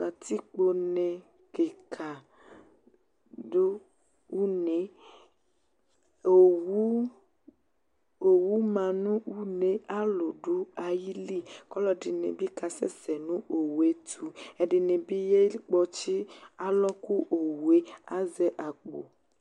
Kǝtikpo kɩka dʋ uneOwu, owu ma nʋ une ,alʋ dʋ ayili; kɔlɔdɩnɩ bɩ ka sɛsɛ nʋ owue tʋƐdɩnɩ bɩ yakpɔtsɩ alɔ kʋ owue Azɛ akpo